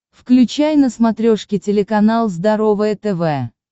включай на смотрешке телеканал здоровое тв